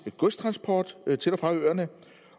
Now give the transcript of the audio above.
godstransport til og fra øerne